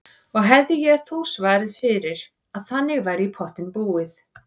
Og hefði ég þó svarið fyrir að þannig væri í pottinn búið.